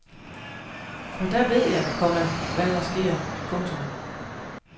For der ved jeg, komma hvad der sker. punktum